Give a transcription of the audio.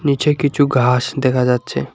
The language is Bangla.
নীচে কিছু ঘাস দেখা যাচ্ছে।